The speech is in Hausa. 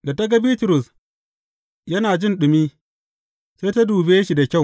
Da ta ga Bitrus yana jin ɗumi, sai ta dube shi da kyau.